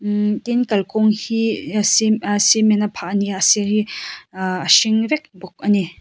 tin kalkawng hi a cement a phah ani a asir hi ahh a hring vek bawk ani.